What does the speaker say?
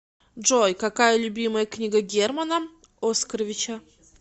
джой какая любимая книга германа оскаровича